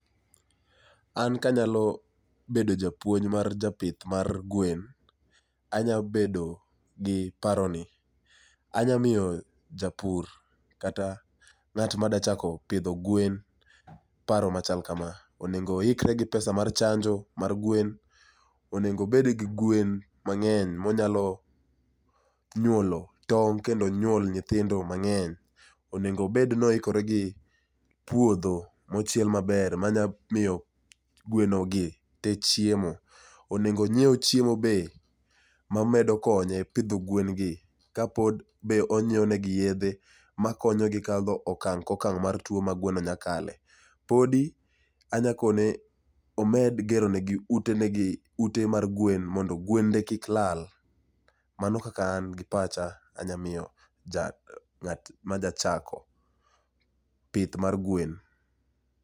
An kanyalo bedo japuonj mar japith mar gwen, anyalo bedo gi paroni, anyalo miyo japur kata ng'ano madwaro chako pidho gwen paro machal kama, onego oikre gi pesa mar chanjo mar gwen, onego obed gi gwen mang'eny manyalo nyuolo tong' kendo nyuol nyihindo mang'eny. Onego obed ni oikore gi puodho mochiel maber manyalo miyo gweno gi chiemo onego onyiew chiemo be mamedo konye pidho gwen gi ka pod be onyiewonegi yedhe makonyogi kadho okang' ka okang' mar tuo ma gweno nyalo kaye. Pod anyalo kone ni omed geronegi ute mar gwen mondo gwende kik lal. Mano kaka an gi pacha anyalo miyo ng'at madwa chako pith mar gwen.